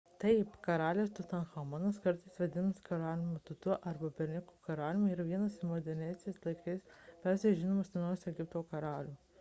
taip karalius tutanchamonas kartais vadinamas karaliumi tutu arba berniuku karaliumi yra vienas iš moderniais laikais labiausiai žinomų senovės egipto karalių